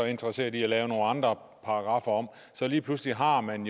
interesseret i at lave nogle andre paragraffer om og lige pludselig har man